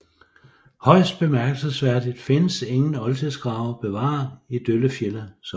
Højst bemærkelsesværdigt findes ingen oldtidsgrave bevaret i Døllefjelde Sogn